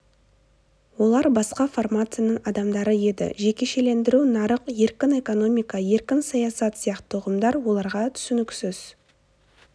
олар басқа формацияның адамдары еді жекешелендіру нарық еркін экономика еркін саясат сияқты ұғымдар оларға түсініксіз